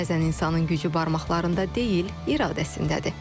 Bəzən insanın gücü barmaqlarında deyil, iradəsindədir.